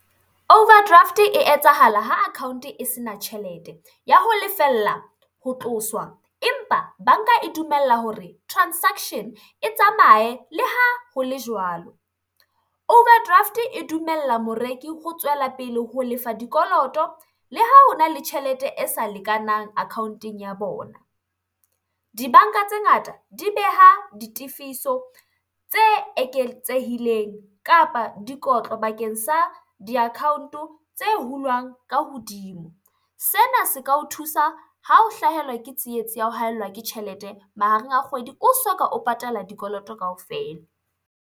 Overdraft e etsahala ha account e se na tjhelete ya ho lefella ho tloswa, empa banka e dumella hore transaction e tsamaye le ha ho le jwalo. Overdraft e dumella moreki ho tswela pele ho lefa dikoloto le ha hona le tjhelete e sa lekanang account-eng ya bona. Dibanka tse ngata di beha ditifiso tse eketsehileng kapa dikotlo bakeng sa di-account-o tse hulwang ka hodimo. Sena se ka o thusa ha o hlahelwa ke tsietsi ya ho haellwa ke tjhelete mahareng a kgwedi o soka o patala dikoloto kaofela.